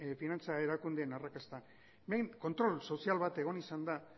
finantza erakundeen arrakasta hemen kontrol sozial bat egon izan da